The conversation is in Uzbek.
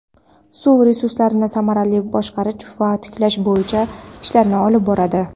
suv resurslarini samarali boshqarish va tiklash bo‘yicha ishlarni olib boradi.